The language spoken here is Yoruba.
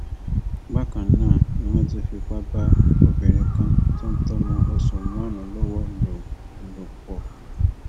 bákan náà ni wọn tún fipá bá obìnrin kan tó ń tọ ọmọ oṣù márùnún lọwọ lò lò pọ